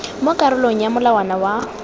mo karolong ya molawana wa